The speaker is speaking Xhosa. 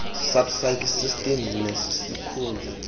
subsidy system nesisikhundla